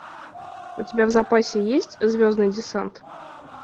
у тебя в запасе есть звездный десант